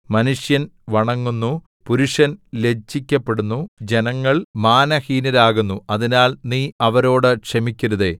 മനുഷ്യൻ വണങ്ങുന്നു പുരുഷൻ ലജ്ജിക്കപ്പെടുന്നു ജനങ്ങള്‍ മാനഹീനരാകുന്നു അതിനാൽ നീ അവരോടു ക്ഷമിക്കരുതേ